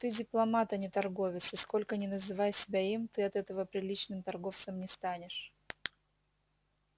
ты дипломат а не торговец и сколько ни называй себя им ты от этого приличным торговцем не станешь